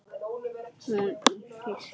Hún í fiski.